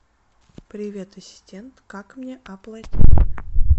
привет ассистент как мне оплатить